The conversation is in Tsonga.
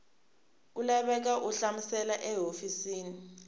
ku laveka u hlamusela hofisi